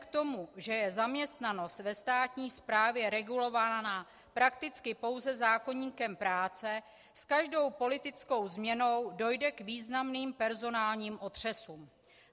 k tomu, že je zaměstnanost ve státní správě regulována prakticky pouze zákoníkem práce, s každou politickou změnou dojde k významným personálním otřesům.